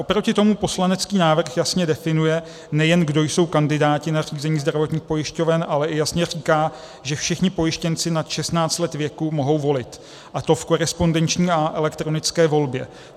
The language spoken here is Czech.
Oproti tomu poslanecký návrh vlastně definuje, nejen kdo jsou kandidáti na řízení zdravotních pojišťoven, ale i jasně říká, že všichni pojištěnci nad 16 let věku mohou volit, a to v korespondenční a elektronické volbě.